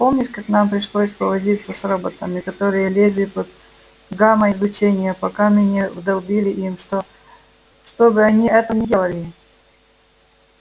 помнишь как нам пришлось повозиться с роботами которые лезли под гамма-излучение пока мы не вдолбили им что чтобы они этого не делали